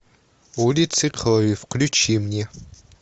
улицы крови включи мне